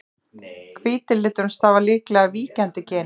hvíti liturinn stafar líklega af víkjandi geni